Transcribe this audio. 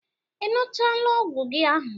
I ṅụchaala ọgwụ gị ahụ?